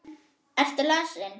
Ertu lasin?